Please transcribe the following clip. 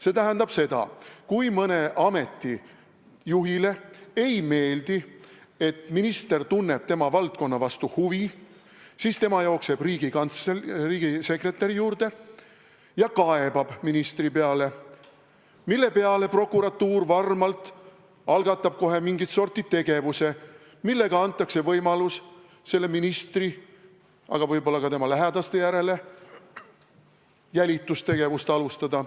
See tähendab seda, et kui mõne ameti juhile ei meeldi, et minister tunneb tema valdkonna vastu huvi, siis ta jookseb riigisekretäri juurde ja kaebab ministri peale, mille peale prokuratuur algatab varmalt kohe mingit sorti tegevuse, millega antakse võimalus selle ministri, aga võib-olla ka tema lähedaste suhtes jälitustegevust alustada.